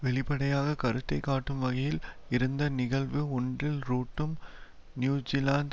வெளிப்படையாக கருத்தை காட்டும் வகையில் இருந்த நிகழ்வு ஒன்றில் ரூட்டும் நியூஜிலாந்து